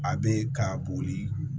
A bɛ ka boli